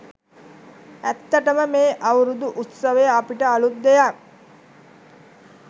ඇත්තටම මේ අවුරුදු උත්සවය අපිට අළුත් දෙයක්.